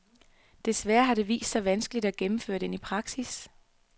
Desværre har det vist sig vanskeligt at gennemføre den i praksis.